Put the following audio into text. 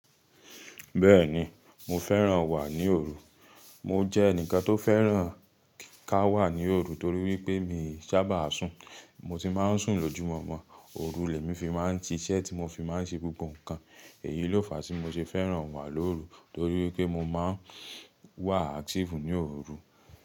Bẹ́ẹ̀ni mo fẹ́ràn wà ní òru, mo jẹ́ ẹnìkan tó fẹ́ràn ká wà ní òru torí wípé mii sáabà sùn mo tì máa ń sùn lójumomo, òru ni emi fi máa ń siṣẹ́ tí mo fi máa ń ṣe gbogbo ǹkan, èyí ló fàá ti mo ṣe fẹ́ràn wà lóru torí wípé mo máa ń wà active ní òru.